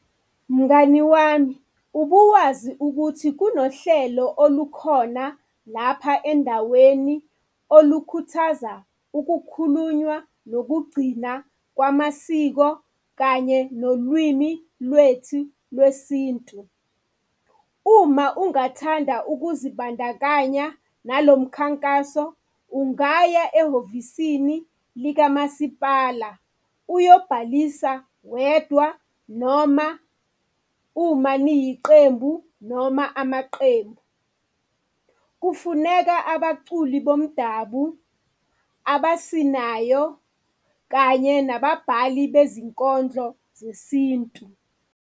Mngani wami ubuwazi ukuthi kunohlelo olukhona lapha endaweni olukhuthaza ukukhulunywa nokugcina kwamasiko kanye nolwimi lwethu lwesintu? Uma ungathanda ukuzibandakanya nalo mkhankaso, ungaya ehhovisini likamasipala uyobhalisa wedwa noma uma niyiqembu, noma amaqembu. Kufuneka abaculi bomdabu, abasinayo kanye nababhali bezinkondlo zesintu.